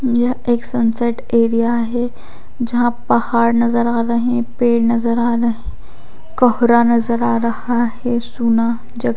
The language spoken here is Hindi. यह एक सन सेट एरिया है जहां पहाड़ नजर आ रहे है पेड़ नजर आ रहे कोहरा नजर आ रहा है सूना जग--